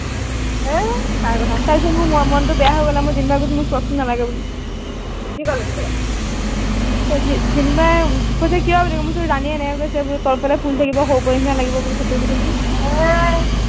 উই তাইৰ কথা তাৰ পিছত মোৰ মনটো বেয়া হৈ গল আৰু মই জিমি বাক কৈছো মোক ফ্ৰকটো নালাগে বুলি কি কলে তেতিয়া জিমি বাই কৈছে কিয় বুলি মই কৈছো ৰাণীয়ে এনেকে কৈছে তলৰ ফালে ফুলি থাকিব সৰু পোৱালি নিচিনা লাগিব বুলি কৈছে বুলি কৈছো অ